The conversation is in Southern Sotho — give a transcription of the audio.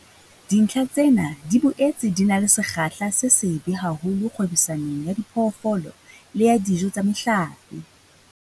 Dintlha tsena di boetse di na le sekgahla se sebe haholo kgwebisanong ya diphoofolo le ya dijo tsa mehlape.